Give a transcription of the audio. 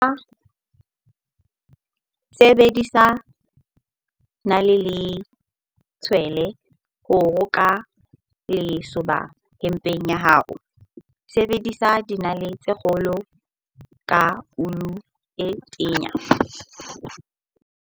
Sebedisa nale le tshwele ho roka lesoba hempeng ya hao, sebedisa dinale tse kgolo ka ulu e tenya.